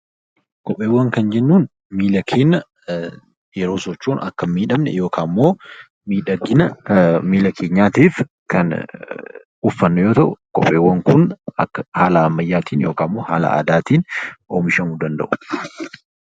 Kopheewwan kan jennuun miila keenya yeroo sochoonu Akka hin miidhamne yookiin immoo miidhagina miila keenyaatiif kan uffannu yoo ta'u, kopheen haala ammayyaatiin yookiin haala aadaatiin oomishamuu danda'u